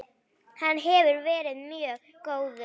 Hann hefur verið mjög góður.